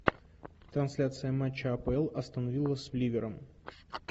трансляция матча апл астон вилла с ливером